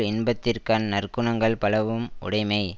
இன்பத்திற்கண் நற்குணங்கள் பலவும் உடைமை